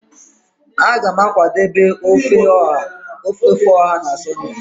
a ga m akwadebe ofe oha na sunday